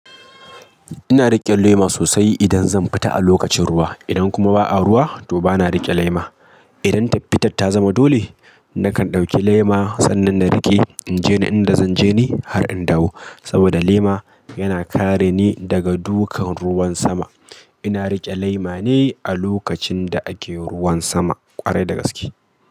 Ina riƙe lema sosai idan zan fita a lokacin ruwa. Idan kuma ba a ruwa to bana riƙe lema. Idan tafita ta zama dole, nakan ɗauki lema sannan na riƙe. In je inda zanje ni har in dawo. Saboda lema yana kare ni daga dukan ruwan sama. Ina riƙe lema ne a lokacin da ake ruwan sama ƙwarai da gaske.